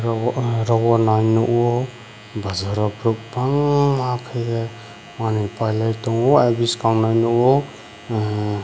obo ah rogo nai nogo bazaro borok bangmaa kaiye maniue pailai tango buskang nai nogo hmm.